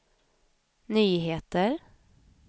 nyheter